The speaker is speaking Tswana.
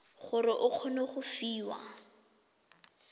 gore o kgone go fiwa